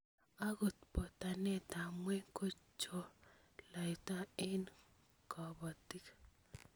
Agot botanetap ngwony ko cholatet eng kobotik